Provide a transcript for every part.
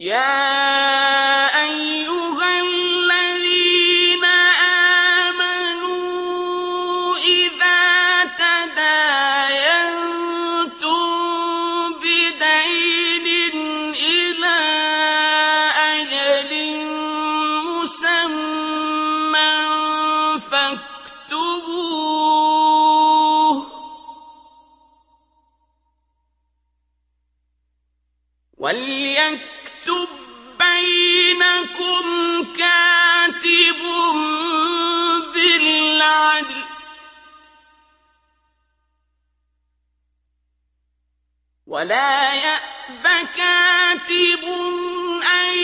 يَا أَيُّهَا الَّذِينَ آمَنُوا إِذَا تَدَايَنتُم بِدَيْنٍ إِلَىٰ أَجَلٍ مُّسَمًّى فَاكْتُبُوهُ ۚ وَلْيَكْتُب بَّيْنَكُمْ كَاتِبٌ بِالْعَدْلِ ۚ وَلَا يَأْبَ كَاتِبٌ أَن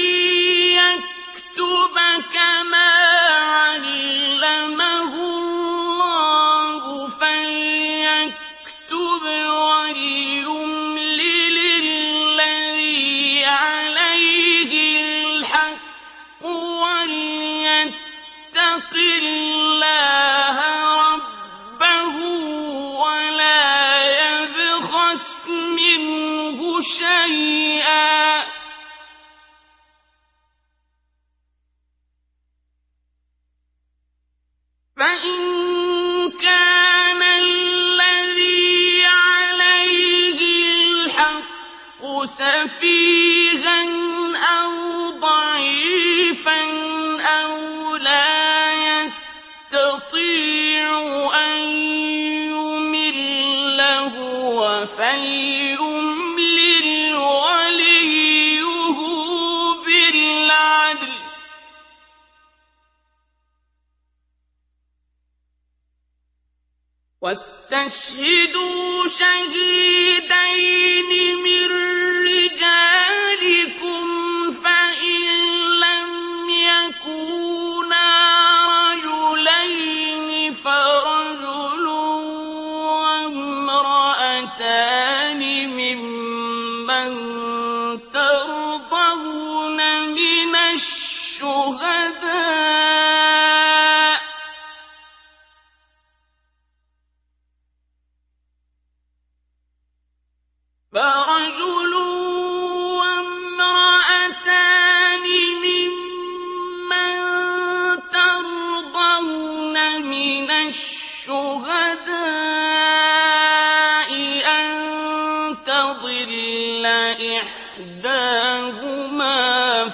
يَكْتُبَ كَمَا عَلَّمَهُ اللَّهُ ۚ فَلْيَكْتُبْ وَلْيُمْلِلِ الَّذِي عَلَيْهِ الْحَقُّ وَلْيَتَّقِ اللَّهَ رَبَّهُ وَلَا يَبْخَسْ مِنْهُ شَيْئًا ۚ فَإِن كَانَ الَّذِي عَلَيْهِ الْحَقُّ سَفِيهًا أَوْ ضَعِيفًا أَوْ لَا يَسْتَطِيعُ أَن يُمِلَّ هُوَ فَلْيُمْلِلْ وَلِيُّهُ بِالْعَدْلِ ۚ وَاسْتَشْهِدُوا شَهِيدَيْنِ مِن رِّجَالِكُمْ ۖ فَإِن لَّمْ يَكُونَا رَجُلَيْنِ فَرَجُلٌ وَامْرَأَتَانِ مِمَّن تَرْضَوْنَ مِنَ الشُّهَدَاءِ أَن تَضِلَّ إِحْدَاهُمَا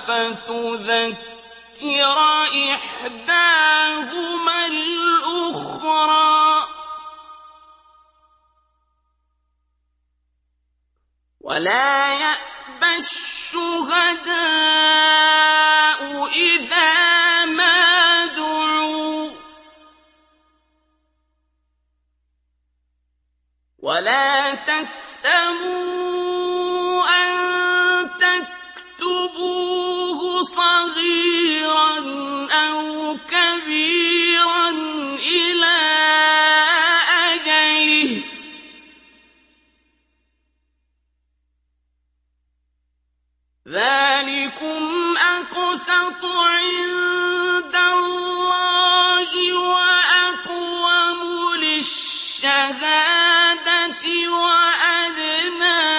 فَتُذَكِّرَ إِحْدَاهُمَا الْأُخْرَىٰ ۚ وَلَا يَأْبَ الشُّهَدَاءُ إِذَا مَا دُعُوا ۚ وَلَا تَسْأَمُوا أَن تَكْتُبُوهُ صَغِيرًا أَوْ كَبِيرًا إِلَىٰ أَجَلِهِ ۚ ذَٰلِكُمْ أَقْسَطُ عِندَ اللَّهِ وَأَقْوَمُ لِلشَّهَادَةِ وَأَدْنَىٰ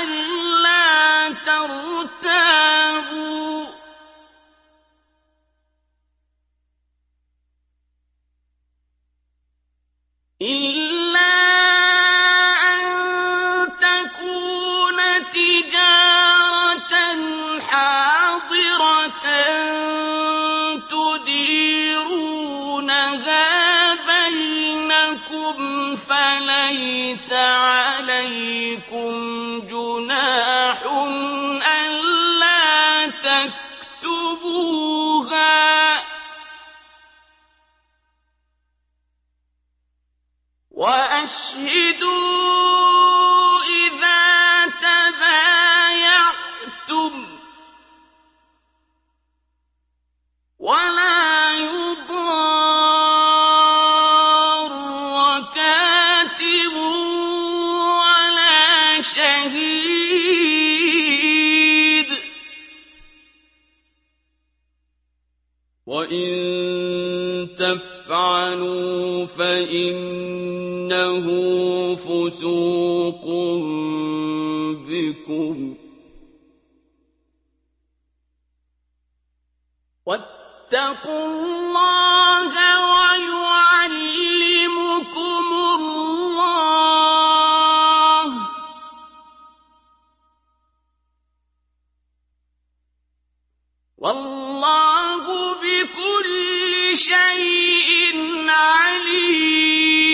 أَلَّا تَرْتَابُوا ۖ إِلَّا أَن تَكُونَ تِجَارَةً حَاضِرَةً تُدِيرُونَهَا بَيْنَكُمْ فَلَيْسَ عَلَيْكُمْ جُنَاحٌ أَلَّا تَكْتُبُوهَا ۗ وَأَشْهِدُوا إِذَا تَبَايَعْتُمْ ۚ وَلَا يُضَارَّ كَاتِبٌ وَلَا شَهِيدٌ ۚ وَإِن تَفْعَلُوا فَإِنَّهُ فُسُوقٌ بِكُمْ ۗ وَاتَّقُوا اللَّهَ ۖ وَيُعَلِّمُكُمُ اللَّهُ ۗ وَاللَّهُ بِكُلِّ شَيْءٍ عَلِيمٌ